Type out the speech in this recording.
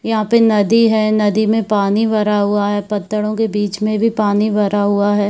यहाँ पे नदी है नदी मे पानी भरा हुआ है पत्थरो के बीच मे भी पानी भरा हुआ है।